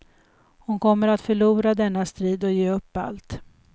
Hon kommer att förlora denna strid och ge upp allt.